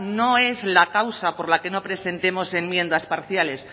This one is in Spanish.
no es la causa por la que no presentemos enmiendas parciales